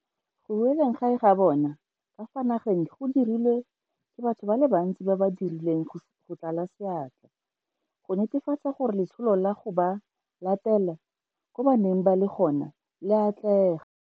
Go boeleng gae ga bona ka fa nageng go dirilwe ke batho ba le bantsi ba ba dirileng go tlala seatla go netefatsa gore letsholo la go ba latela ko ba neng ba le gona le a atlega.